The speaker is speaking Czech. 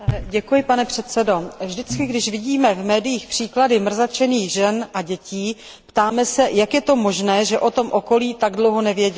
Pane předsedající, vždycky, když vidíme v médiích příklady mrzačených žen a dětí, ptáme se, jak je možné, že o tom okolí tak dlouho nevědělo.